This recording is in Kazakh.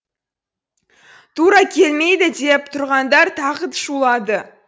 тура келмейді деп тұрғандар тағы шулады